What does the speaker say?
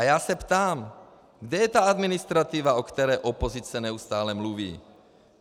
A já se ptám: Kde je ta administrativa, o které opozice neustále mluví?